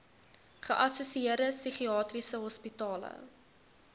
geassosieerde psigiatriese hospitale